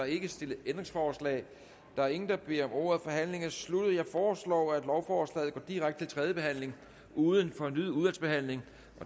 ikke stillet ændringsforslag der er ingen der beder om ordet forhandlingen er sluttet jeg foreslår at lovforslaget går direkte til tredje behandling uden fornyet udvalgsbehandling